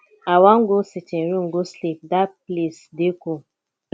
i wan go sitting room go sleep dat place dey cool